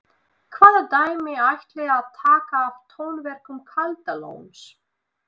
Hvaða dæmi ætlið þið að taka af tónverkum Kaldalóns?